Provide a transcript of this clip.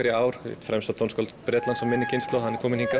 í ár og eitt fremsta tónskáld Bretlands af minni kynslóð er kominn hingað